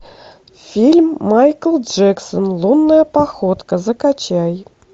фильм майкл джексон лунная походка закачай